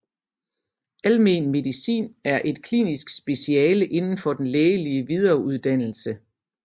Almen medicin er et klinisk speciale inden for den lægelige videreuddannelse